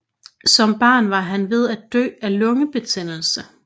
Som barn var han ved at dø af lungebetændelse